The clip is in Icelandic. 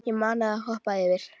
Ég mana þig að hoppa yfir.